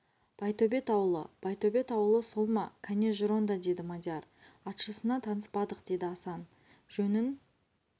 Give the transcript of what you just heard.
байтөбет ауылы байтөбет ауылы сол ма кәне жүр онда деді мадияр атшысына таныспадық деді асан жөнін